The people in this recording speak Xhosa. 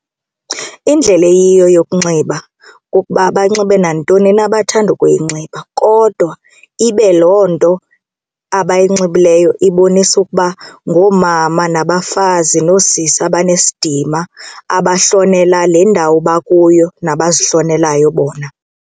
Indlela eyiyo yokunxiba kukuba banxibe nantoni na abathanda ukuyinxiba kodwa ibe loo nto abayinxibileyo ibonisa ukuba ngoomama nabafazi noosisi abanesidima abahlonela le ndawo bakuyo nabazihlonelayo bona.